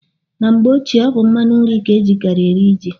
Na mgbe ochie, ọ bụ mmanụ nri ka a na-ejikarị eri ji.